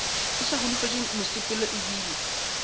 ke sa holofetše mosepelo ebile